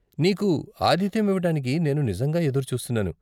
నీకు ఆతిధ్యమివ్వటానికి నేను నిజంగా ఎదురు చూస్తున్నాను.